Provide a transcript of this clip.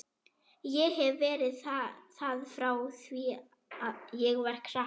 Ég hef verið það frá því ég var krakki.